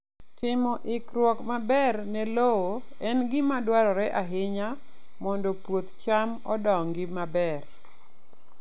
Timo ikruok maber ne lowo en gima dwarore ahinya mondo puoth cham odongi maber.